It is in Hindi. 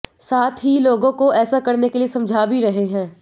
साथ ही लोगों को ऐसा करने के लिए समझा भी रहे हैं